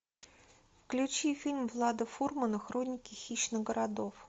включи фильм влада фурмана хроники хищных городов